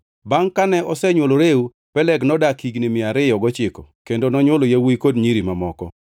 Bangʼ kane osenywolo Reu, Peleg nodak higni mia ariyo gochiko kendo nonywolo yawuowi kod nyiri mamoko.